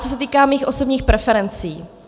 Co se týká mých osobních preferencí.